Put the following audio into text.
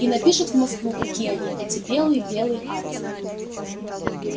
и напишет в москву какие они эти белые белые аисты